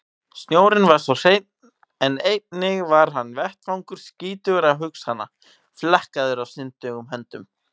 Snjórinn var svo hreinn en einnig hann var vettvangur skítugra hugsana, flekkaður af syndugum höndum.